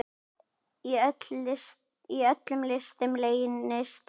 Í öllum listum leynist leikur.